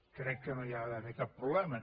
crec que no hi ha d’haver cap problema